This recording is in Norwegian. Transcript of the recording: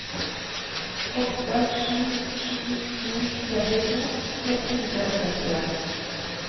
åtte sju sju to trettito ett hundre og sekstien